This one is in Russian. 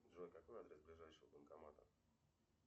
джой какой адрес ближайшего банкомата